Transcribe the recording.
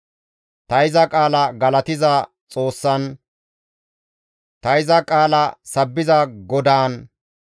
Ta iza qaala galatiza Xoossan, ta iza qaala sabbiza GODAAN,